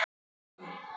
Hann vann.